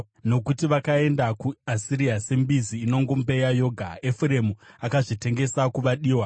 Nokuti vakaenda kuAsiria sembizi inongombeya yoga. Efuremu akazvitengesa kuvadiwa.